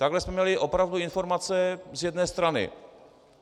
Takhle jsme měli opravdu informace z jedné strany.